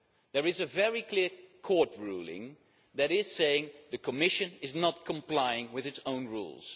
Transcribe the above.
There is a very clear Court ruling saying the Commission is not complying with its own rules.